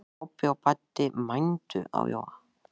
Kobbi og Baddi mændu á Jóa.